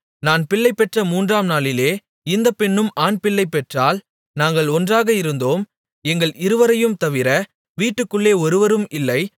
நான் பிள்ளை பெற்ற மூன்றாம் நாளிலே இந்த பெண்ணும் ஆண்பிள்ளை பெற்றாள் நாங்கள் ஒன்றாக இருந்தோம் எங்கள் இருவரையும் தவிர வீட்டுக்குள்ளே வேறொருவரும் இல்லை